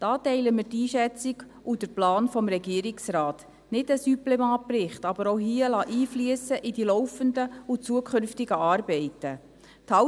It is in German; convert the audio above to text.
Da teilen wir die Einschätzung und den Plan des Regierungsrates: nicht einen Supplement-Bericht, aber auch hier in die laufenden und zukünftigen Arbeiten einfliessen lassen.